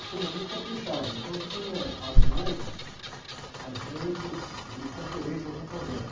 O Frei caprichava, então tinha as noites, as noites de conferências no convento.